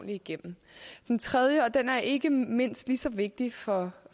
igennem det tredje forhold og det er ikke mindst lige så vigtigt for